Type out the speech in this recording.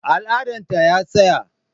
Al'adan ta ya tsaya